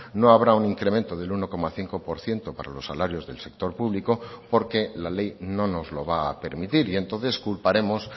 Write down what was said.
no habrá un incremento del uno coma cinco por ciento para los salarios del sector público porque la ley no nos lo va a permitir y entonces culparemos